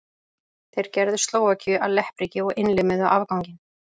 þeir gerðu slóvakíu að leppríki og innlimuðu afganginn